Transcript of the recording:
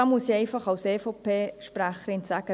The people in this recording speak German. Da muss ich als EVP-Sprecherin sagen: